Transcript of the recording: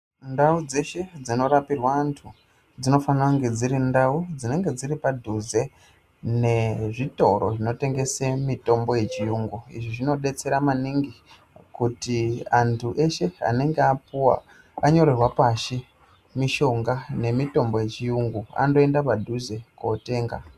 Ndau dzeshe dzinorapirwa antu dzinofanira kunge dzrindau dziripadhuze nezvitoro zvinotengese mitombo yechiyungu. Izvi zvinodetsere maningi kuti antu eshe anengeapuwa anyorerwa pashi mishonga nemitombo yechiyungu andoenda padhuze kootenga.